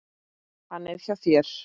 Hann er hjá þér.